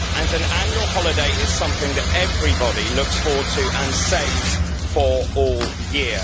An annual holiday is something that everybody looks forward to and saves for all year.